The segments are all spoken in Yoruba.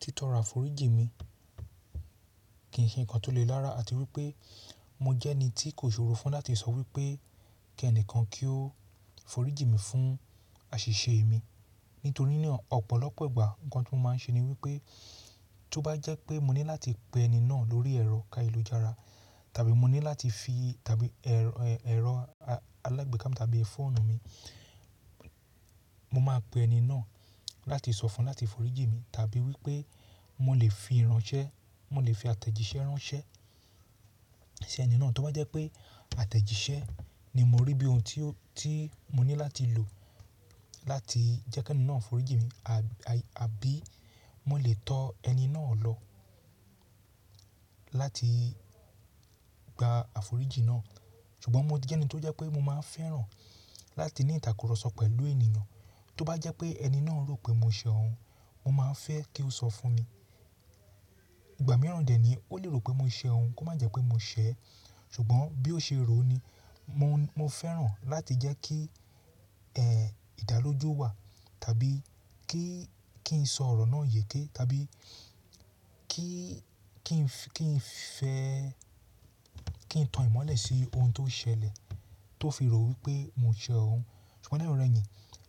Tí tọrọ aforíji mi kì í ṣe nǹkan tó le rára àti wípé mo jẹ́ ẹni tí kò ṣòro fún láti sọ wípé kí ẹnìkan kí ó foríji mi fún àṣìṣe mi. Nítorínà ọ̀pọ̀lọpọ̀ ìgbà nǹkan tó máa ń ṣe ni wípé tó bá jẹ́ pé mo ní láti pe ẹni náà lórí ẹ̀rọ, ayélujára tabi mo ní láti fi tàbí ẹ̀rọ alágbèéká mi tàbí fóònù mi, mo máa pe ẹni náà láti sọ fún láti foríji mi, tàbí wípé mo lè fi ìránṣẹ́, mo lè fi àtẹ̀jíṣẹ́ ránṣẹ́ sí ẹni náà. Tó bá jẹ́ pé àtẹ̀jíṣẹ́ ni mo rí bí ohun tí mo ní láti lò láti jẹ́ kí ẹni náà foríji mi, àbí mo lè tọ ẹni náà lọ láti gba àforíji náà. Ṣùgbọ́n mo jẹ́ ẹni tó jẹ́ pé mo máa fẹ́ràn láti ní ìtàkurọ̀sọ pẹ̀lú ènìyàn. Tó bá jẹ́ pé ẹni náà rò pé mo ṣẹ̀ ọ́un, mo máa fẹ́ kí ó sọ fún mi. Ìgbà mìíràn dè ẹ́ ni ó lè rò pé mo ṣẹ̀ ọ́un, kó má jẹ́ pé mo ṣẹ̀ ẹ́. Ṣùgbọ́n bí ó ṣe rò ni, mo fẹ́ràn láti jẹ́ kí ìdáloju wà tàbí kí n sọ ọ̀rọ̀ náà yéké, tàbí kí n fẹ́ kí n tan ìmọ́lẹ̀ sí ohun tó ṣẹlẹ̀ tó fi rò wípé mo ṣẹ̀ ọ́un. Ṣùgbọ́n lẹyinọrẹyìn,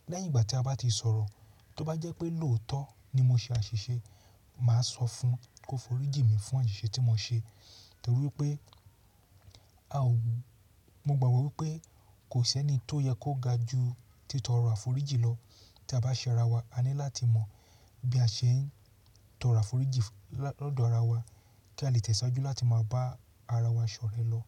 lẹ́yìn ìgbà tí a bá ti sọ̀rọ̀, tó bá jẹ́ pé lòótọ́ ni mo ṣe àṣìṣe, màá sọ fún un kó foríji mi fún àṣìṣe tí mo ṣe. Nítorí wípé, mo gbàgbọ́ wípé kò ṣẹ́ ẹni tó yẹ kó ga ju títọrọ aforíji lọ. Tí a bá ṣẹ̀ ara wa, a ní láti mọ bí a ṣe ń tọrọ aforíji lọ́dọ̀ ara wa kí a lè tẹ̀síwájú láti máa bá ara wa ṣọ̀rẹ́ lọ.